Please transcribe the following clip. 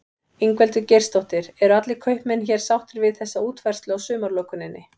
Ingveldur Geirsdóttir: Eru allir kaupmenn hér sáttir við þessa útfærslu á sumarlokuninni?